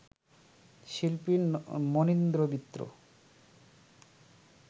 শিল্পী মনীন্দ্র মিত্র